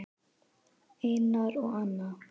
Einar og Anna.